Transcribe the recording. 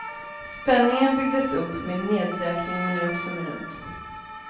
Spänningen byggdes upp med nedräkning minut för minut.